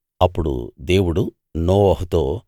అప్పుడు దేవుడు నోవహుతో